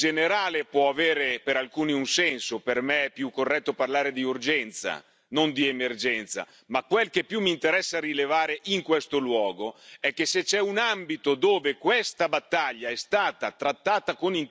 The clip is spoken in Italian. Per me è più corretto parlare di urgenza, non di emergenza, ma quel che più mi interessa rilevare in questo luogo è che se c'è un ambito dove questa battaglia è stata trattata con intelligenza, e vinta è l'Europa.